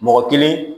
Mɔgɔ kelen